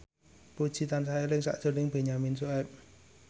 Puji tansah eling sakjroning Benyamin Sueb